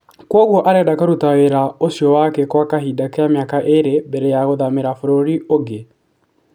Kwoguo arenda kũruta wĩra ũcio wake gwa kahinda ka mĩaka ĩrĩ mbere ya gũthamira bũrũri ũngĩ.